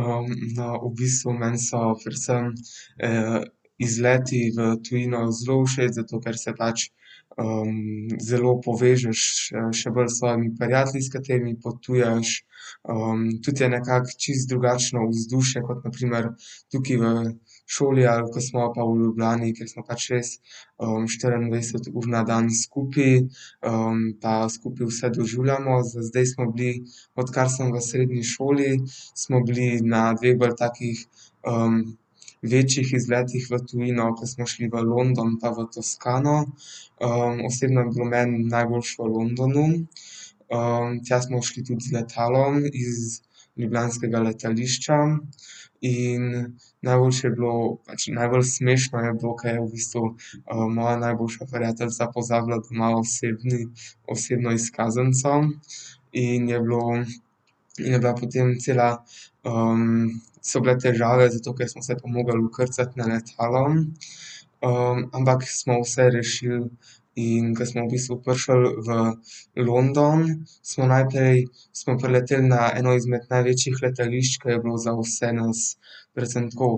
no, v bistvu meni so predvsem, izleti v tujino zelo všeč, zato ker se pač, zelo povežeš še bolj s svojimi prijatelji, s katerimi potuješ. tudi je nekako čisto drugačno vzdušje kot na primer tukaj v šoli, ali ko smo pa v Ljubljani, kjer smo pač res, štiriindvajset ur na dan skupaj. pa skupaj vse doživljamo. Za zdaj smo bili, odkar sem v srednji šoli, smo bili na dveh bolj takih, večjih izletih v tujino, ko smo šli v London pa v Toskano. osebno je bilo meni najboljše v Londonu. tja smo šli tudi z letalom iz ljubljanskega letališča in najboljše je bilo, pač najbolj smešno je bilo, ke je v bistvu, moja najboljša prijateljica pozabila doma osebni, osebno izkaznico. In je bilo, in je bila potem cela, so bile težave, zato ker smo se pa mogli vkrcat na letalo ampak smo vse rešili, in ke smo v bistvu prišli v London, smo najprej, smo prileteli na eno izmed največjih letališč, ke je bilo za vse nas predvsem tako,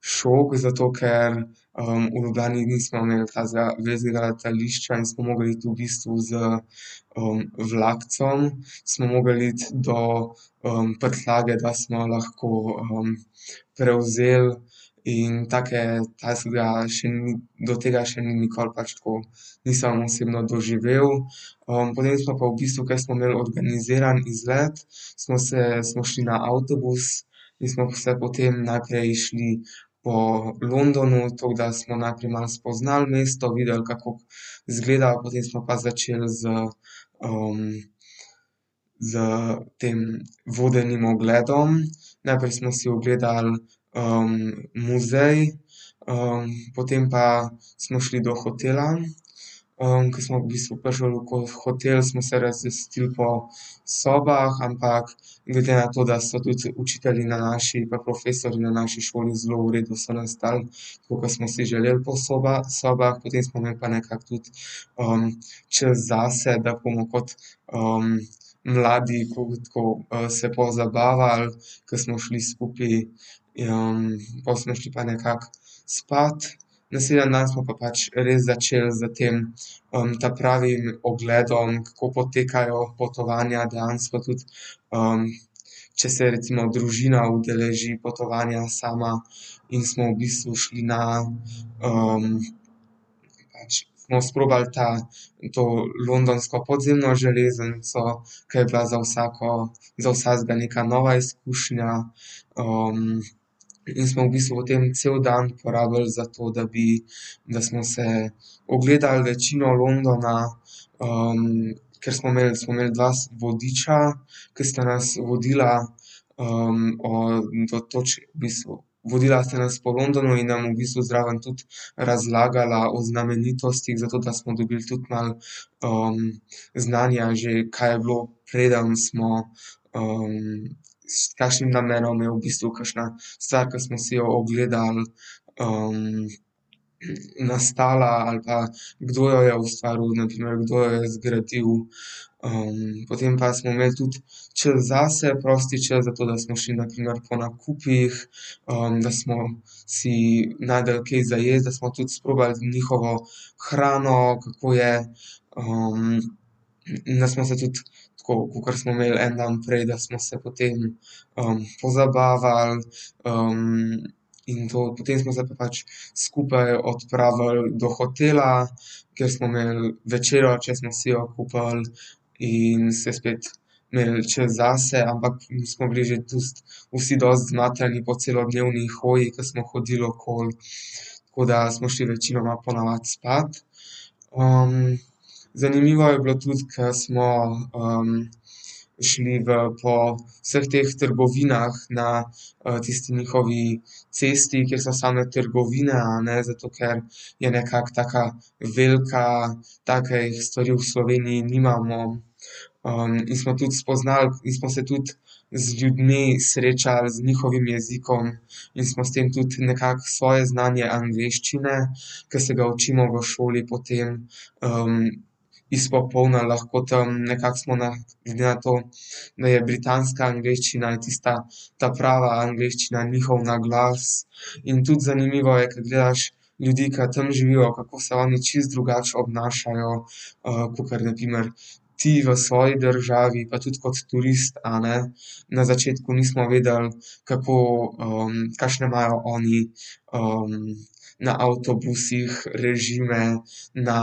šok, zato ker, v Ljubljani nismo imeli takega velikega letališča in smo mogli iti v bistvu z, vlakcem, smo mogli iti do, prtljage, da smo lahko, prevzeli in take, do tega še ni nikoli pač tako nisem osebno doživel. potem smo pa v bistvu, ke smo imeli organiziran izlet, smo se, smo šli na avtobus in smo se potem najprej šli po Londonu, tako da smo najprej malo spoznali mesto, videli, kako izgleda, potem smo pa začel s, s tem vodenim ogledom. Najprej smo si ogledali, muzej, potem pa smo šli do hotela, ke smo v bistvu prišli v hotel, smo se razvrstili po sobah, ampak glede na to, da so tudi učitelji na naši, pa profesorji na naši šoli zelo v redu, so nas dali tako, ke smo si želeli po sobah, potem smo imeli pa nekako tudi, čas zase, da bomo kot, mladi tako se pozabavali. Ke smo šli skupaj, pol smo šli pa nekako spat. Naslednji smo pa pač res začeli s tem, ta pravim ogledom, kako potekajo potovanja dejansko tudi, če se recimo družina udeleži potovanja sama, in smo v bistvu šli na, pač smo sprobali ta, to londonsko podzemno železnico, ke je bila za vsako, za vsakega neka nova izkušnja. in smo v bistvu potem cel dan porabili za to, da bi, da smo si ogledali večino Londona, ker smo imeli, smo imeli dva vodiča, ke sta nas vodila, do v bistvu, vodila sta nas po Londonu in nam v bistvu zraven tudi razlagala o znamenitostih, zato da smo dobili tudi malo, znanja že, kaj je bilo, preden smo, s kakšnim namenom je v bistvu kakšna stvar, ke smo si jo ogledali, nastala ali pa, kdo jo je ustvaril, na primer, kdo jo je zgradil. potem pa smo imeli tudi čas zase, prosti čas, zato da smo šli na primer po nakupih, da smo si našli kaj za jesti, da smo tudi sprobali njihovo hrano, kako je, da smo se tudi tako kakor smo imeli en dan fraj, da smo se potem, pozabavali, in to potem se pa pač skupaj odpravili do hotela, kjer smo imeli večerjo, če smo si jo kupili, in se spet imeli čas zase, ampak mi smo bili že vsi dosti zmatrani po celodnevni hoji, ke smo hodili okoli. Tako da smo šli večinoma po navadi spat. zanimivo je bilo tudi, ke smo šli v po vseh teh trgovinah na, tisti njihovi cesti, kjer so same trgovine, a ne, zato ker je nekako taka velika, takih stvari v Sloveniji nimamo. in smo tudi spoznali in smo se tudi z ljudmi srečali, z njihovim jezikom in smo s tem tudi nekako svoje znanje angleščine, ke se ga učimo v šoli, potem, izpopolnili lahko tam. Nekako smo na glede na to, da je britanska angleščina tista ta prava angleščina in njihov naglas in tudi zanimivo je, ke gledaš ljudi, ki tam živijo, kako se oni čisto drugače obnašajo, kakor na primer ti v svoji državi pa tudi kot turist, a ne. Na začetku nismo vedeli, kako, kakšne imajo oni, na avtobusih režime, na,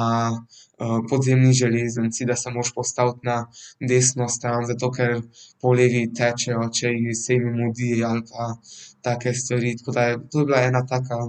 podzemni železnici, da se moraš postaviti na desno stran zato, ker po levi tečejo, če ji se jim mudi ali pa take stvari, tako da to je bila ena taka.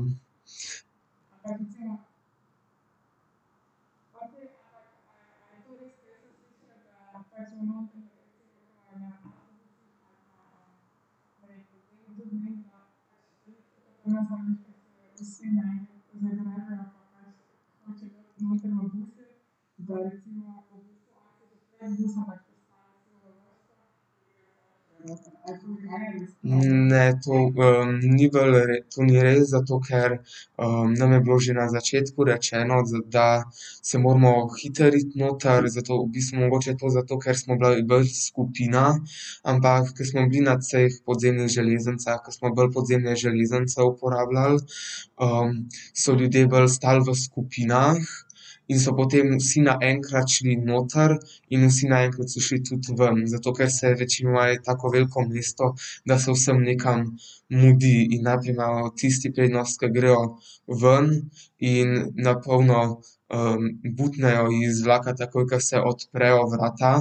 ne, to, ni bolj to ni res, zato ker, nam je bilo že na začetku rečeno, da se moramo hitro iti noter zato, v bistvu mogoče to zato, ker smo bolj skupina, ampak ko smo bili na teh podzemnih železnicah, ke smo bolj podzemne železnice uporabljali, so ljudje bolj stal v skupinah in so potem vsi naenkrat šli noter in vsi naenkrat so šli tudi ven, zato ker se večinoma je tako veliko mesto, da se vsem nekam mudi in najprej imajo tisti prednost, ke grejo ven, in na polno, butnejo iz vlaka takoj, ke se odprejo vrata,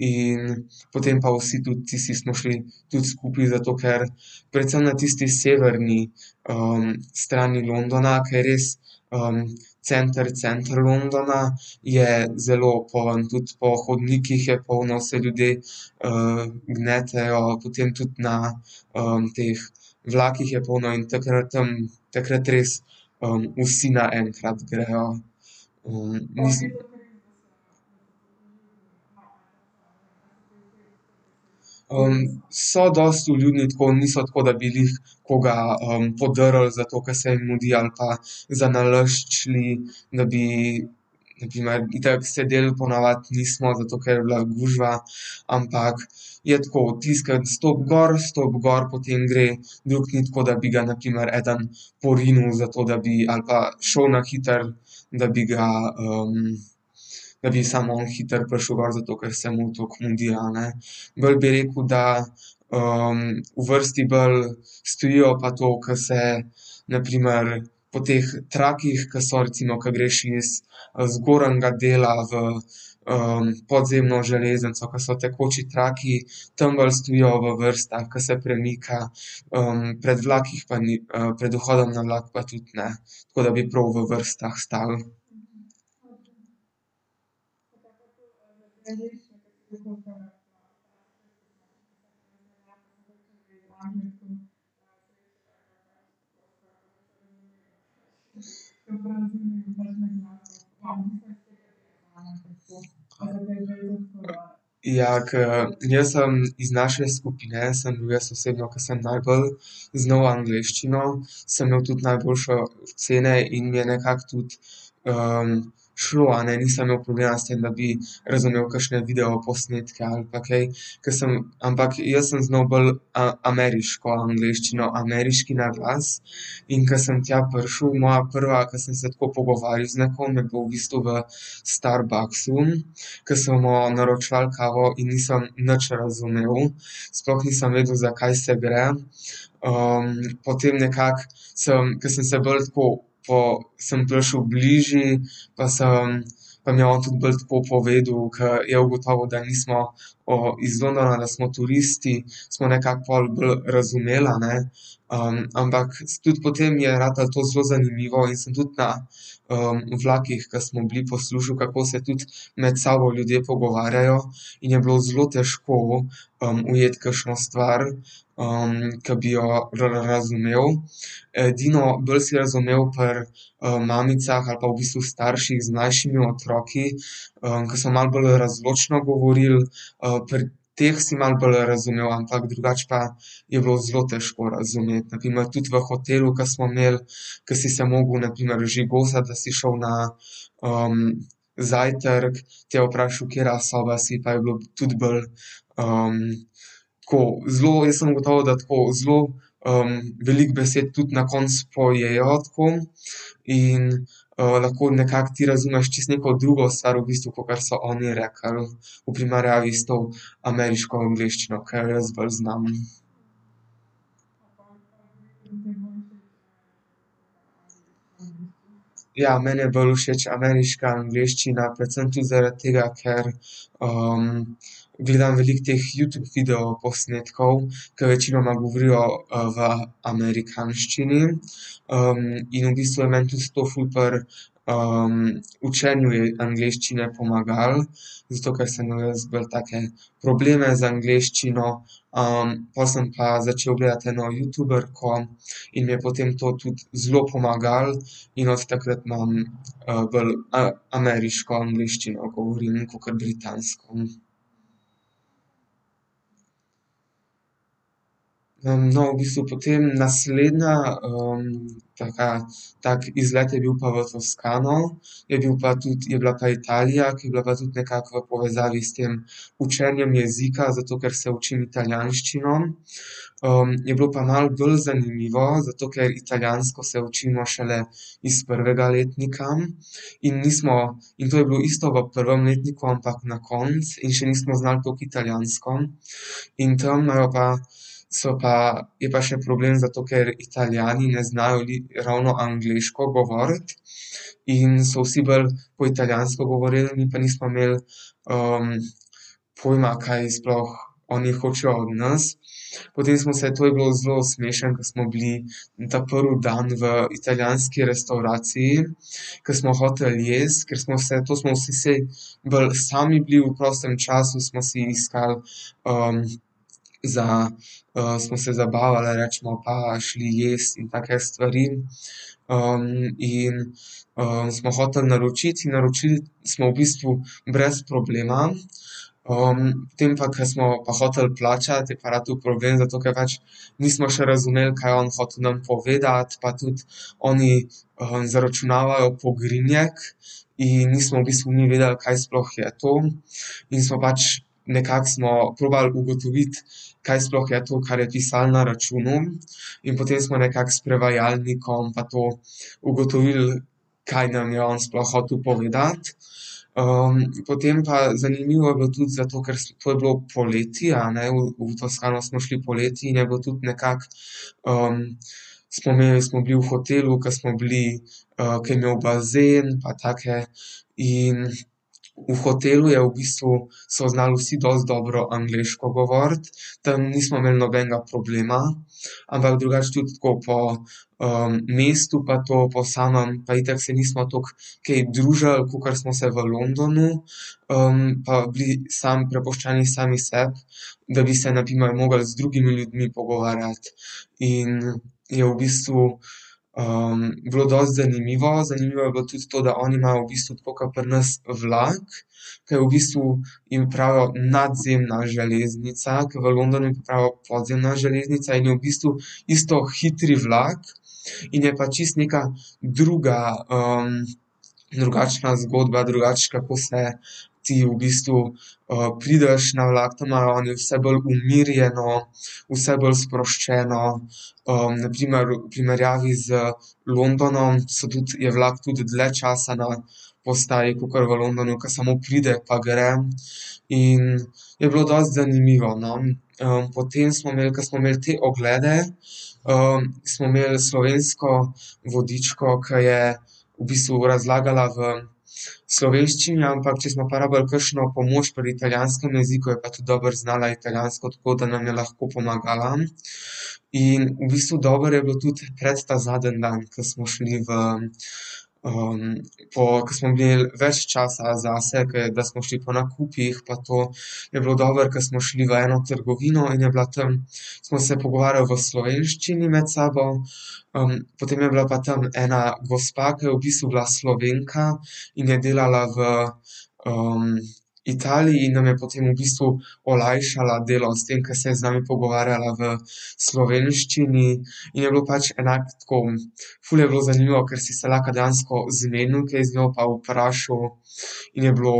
in potem pa vsi tudi tisti smo šli tudi skupaj, zato ker predvsem na tisti severni, strani Londona, ke je res, center, center Londona je zelo poln, tudi po hodnikih je polno vse ljudi, gnetejo, potem tudi na, teh vlakih je polno in takrat, takrat res, vsi naenkrat grejo, ... so dosti vljudni, tako, niso tako, da bi glih koga, podrli zato, ker se jim mudi, ali pa zanalašč šli, da bi, na primer, itak sedeli po navadi nismo, zato ker je bila gužva, ampak je tako, tisti, ki stopi gor, stopi gor, potem gre drugi, ni tako, da bi ga na primer eden porinil zato, da bi ali pa šel na hitro, da bi ga, da bi samo on hitro prišel, zato ker se mu tako mudi, a ne. Bolj bi rekel, da, v vrsti bolj stojijo pa to, ko se na primer po teh trakovih, ke so, recimo, ke greš iz, z zgornjega dela v, podzemno železnico pa so tekoči trakovi, tam bolj stojijo v vrstah, ke se premika. pred vlakih pa ni, pred vhodom na vlak pa tudi, ne. Tako da bi prav v vrstah stali. Ja, ke jaz sem iz naše skupine, sem bil jaz osebno, ke sem najbolj znal angleščino, sem imel tudi najboljše ocene in mi je nekako tudi, šlo, a ne, nisem imel problema s tem, da bi razumel kakšne videoposnetke ali pa kaj, ke sem, ampak jaz sem znal bolj, ameriško angleščino, ameriški naglas, in ko sem tja prišel, moja prva, ke sem se tako pogovarjal z nekom, je bilo v bistvu Starbucksu, ke smo naročevali kavo in nisem nič razumel. Sploh nisem vedel, zakaj se gre. potem nekako sem, ke sem se bolj tako pol sem prišel bliže, pa sem, pa mi je on tudi bolj tako povedal, ko je ugotovil, da nismo iz Londona, da smo turisti. Smo nekako bolj razumeli, a ne. ampak tudi potem je ratalo to zelo zanimivo in sem tudi na, vlakih, ke smo bili, poslušal, kako se tudi med sabo ljudje pogovarjajo. In je bilo zelo težko, ujeti kakšno stvar, ki bi jo bolj razumel. Edino bolj si razumel pri, mamicah ali pa v bistvu starših z mlajšimi otroki, ke so malo bolj razločno govoril, pri teh si malo bolj razumel, ampak drugače pa je bilo zelo težko razumeti. Na primer tudi v hotelu, ke smo imeli, ke si se mogel na primer ožigosati, da si šel na, zajtrk te je vprašal: "Katera soba si?" pa je bilo tudi bolj, tako zelo, jaz sem ugotovil, da tako zelo, veliko besed tudi na koncu pojejo tako in, lahko nekako ti razumeš čisto neko drugo stvar v bistvu, kakor so oni rekli. V primerjavi s to ameriško angleščino, ke jo jaz bolj znam. Ja, meni je bolj všeč ameriška angleščina, predvsem tudi zaradi tega, ker, gledam veliko teh Youtube videoposnetkov, ke večinoma govorijo, v amerikanščini, in v bistvu je meni to to ful pri, učenju angleščine pomagalo, zato ker sem imel jaz bolj take probleme z angleščino, pol sem pa začel gledati eno youtuberko in mi je potem to tudi zelo pomagalo. In od takrat imam, bolj, ameriško angleščino, ko govorim kakor britansko. no, v bistvu potem naslednja, taka, tako izlet je bil pa v Toskano. Je bil pa tudi, je bila pa Italija, ki je bila pa tudi nekako v povezavi s tem učenjem jezika, zato ker se učim italijanščino. je bilo pa malo b zanimivo, zato ker italijansko se učimo šele iz prvega letnika. In nismo in to je bilo isto v prvem letniku, ampak na koncu in še nismo znali toliko italijansko. In tam imajo pa so pa, je pa še problem, zato ker Italijani ne znajo ravno angleško govoriti, in so vsi bolj po italijansko govorili, mi pa nismo imeli, pojma, kaj sploh oni hočejo od nas. Potem smo se, to je bilo zelo smešno, ke smo bili ta prvi dan v italijanski restavraciji, ke smo hoteli jaz, ker smo se, to smo vsi se bolj sami bili, v prostem času smo si iskali, za, smo se zabavali, recimo pa šli jest in take stvari. in, smo hoteli naročiti in naročili smo v bistvu brez problema. potem pa, ke smo pa hoteli plačati, je pa ratal problem, zato ker pač nismo še razumeli, kaj je on hotel nam povedati pa tudi oni, zaračunavajo pogrinjek in nismo v bistvu mi vedeli, kaj sploh je to, in smo pač nekako smo probali ugotoviti, kaj sploh je to, kar je pisalo na računu. In potem smo nekako s prevajalnikom pa to ugotovili, kaj nam je on sploh hotel povedati. potem pa zanimivo je bilo tudi zato, ker to je bilo poleti, a ne, v Toskano smo šli poleti in je bilo tudi nekako, neraz smo bili v hotelu, ke smo bili, ke je imel bazen pa take. In v hotelu je v bistvu, so znali vsi dosti dobro angleško govoriti. Tam nismo imeli nobenega problema, ampak drugače tudi tako po, mestu pa to po samem pa itak se nismo toliko kaj družili, kakor smo se v Londonu. pa bili samo prepuščeni sami sebi, da bi se na primer mogli z drugimi ljudmi pogovarjati. In je v bistvu, bilo dosti zanimivo. Zanimivo je bilo tudi to, da oni imajo v bistvu, tako kot pri nas vlak, ke je v bistvu jim pravijo nadzemna železnica, ker v Londonu pa pravijo podzemna železnica in je v bistvu isto hitri vlak. In je pa čisto neka druga, drugačna zgodba, drugače, kako se ti v bistvu, prideš na vlak, tam imajo oni vse bolj umirjeno, vse bolj sproščeno. na primer v primerjavi z Londonom, so tudi, je vlak tudi dlje časa na postaji, kakor v Londonu, ke samo pride pa gre, in je bilo dosti zanimivo, no. potem smo imeli, ke smo imeli te oglede, smo imeli slovensko vodičko, ke je v bistvu razlagala v slovenščini, ampak če smo pa rabili kakšno pomoč pri italijanskem jeziku, je pa tudi dobro znala italijansko, tako da nam je lahko pomagala. In v bistvu dobro je bilo tudi takrat ta zadnji dan, ko smo šli v, pol ke smo imeli več časa zase, ke da smo šli po nakupih pa to, je bilo dobro, ker smo šli v eno trgovino in je bila tam, smo se pogovarjali v slovenščini med sabo, potem je bila pa tam ena gospa, ke je v bistvu bila Slovenka in je delala v, Italiji in nam je potem v bistvu olajšala delo s tem, ke se je z nami pogovarjala v slovenščini. In je bilo pač enako, tako ful je bilo zanimivo, ker si se lahko dejansko zmenil kaj z njo pa vprašal, in je bilo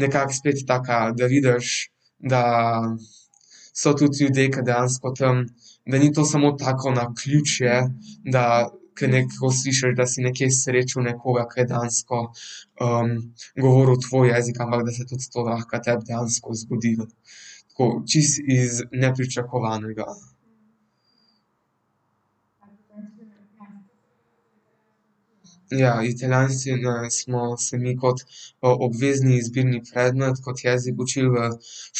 nekako spet taka, da vidiš, da so tudi ljudje, ke dejansko tam, da ni to samo tako naključje, da ke slišiš, da si srečal nekoga, ke je dejansko, govoril tvoj jezik, ampak da se tudi to lahko tebi dejansko zgodi. Tako čisto iz nepričakovanega. Ja, italijanščino smo se mi kot, obvezni izbirni predmet kot jezik učili v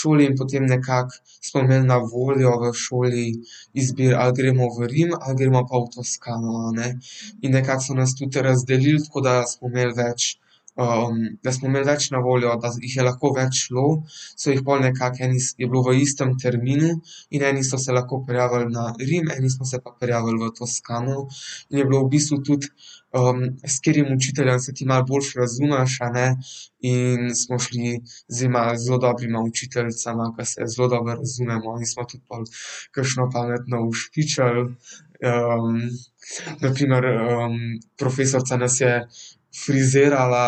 šoli in potem nekako smo imeli na voljo v šoli izbiro, ali gremo v Rim ali gremo pa v Toskano, a ne. In nekako so nas tudi razdelili tako, da smo imeli več, da smo imeli več na voljo, da jih je lahko več šlo. So jih pol nekako je bilo v istem terminu in eni so se lahko prijavili na Rim, eni smo se pa prijavili v Toskano in je bilo v bistvu tudi, s katerim učiteljem se ti malo boljše razumeš, a ne. In smo šli z zelo dobrima učiteljicama, ke se zelo dobro razumemo, in smo pol tudi kakšno pametno ušpičili, na primer, profesorica nas je frizirala,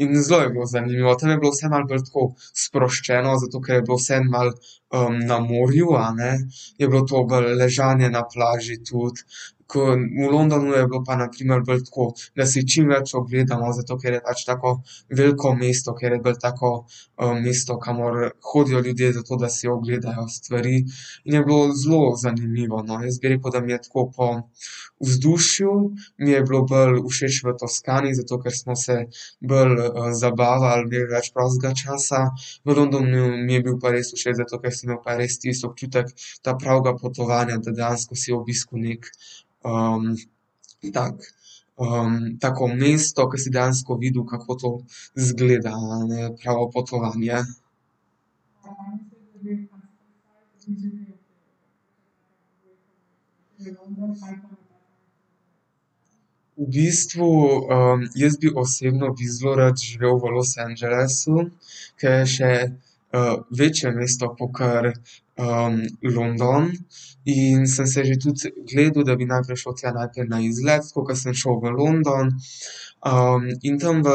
in zelo je bilo zanimivo, tam je bilo vse malo bolj tako sproščeno, zato ker je bilo vseeno malo, na morju, a ne. Je bilo to bolj ležanje na plaži tudi, ke v Londonu je bilo pa na primer bolj tako, da si čim več ogledamo, zato ker je pač tako veliko mesto, ker je bolj tako, mesto, kamor hodijo ljudje, zato da si ogledajo stvari, in je bilo zelo zanimivo, no. Jaz bi rekel, da mi je tako po vzdušju mi je bilo bolj všeč v Toskani, zato ker smo se bolj, zabavali, imeli več prostega časa. V Londonu mi je bil pa res všeč, zato ker si imel pa res tisti občutek ta pravega potovanja, da dejansko si obiskal nekaj, tako, tako mesto, ke si dejansko videl, kako to izgleda, a ne. Pravo potovanje. V bistvu, jaz bi osebno bi zelo rad živel v Los Angelesu, ke je še, večje mesto kakor, London. In sem se že tudi gledal, da bi najprej šel tja najprej na izlet, tako ke sem šel v London. in tam v